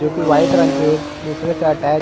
जो की वाइट रंग के एक दूसरे से और अटैच --